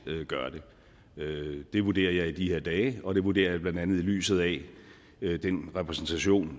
gør det det vurderer jeg i de her dage og det vurderer jeg blandt andet i lyset af den repræsentation